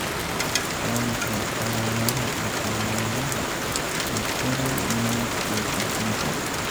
Waa maxay calaamadaha iyo calaamadaha lateral meningocele syndrome?